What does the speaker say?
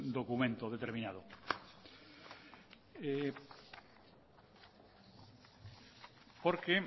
documento determinado porque